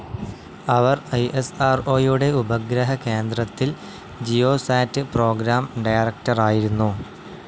അവർ ഐഎസ്ആർഓയുടെ ഉപഗ്രഹ കേന്ദ്രത്തിൽ ജിയോസാറ്റ് പ്രോഗ്രാം ഡയറക്ടറായിരുന്നു.